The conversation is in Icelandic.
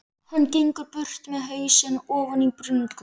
Hann gengur burt með hausinn ofan í bringu.